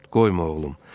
Qoyma oğlum.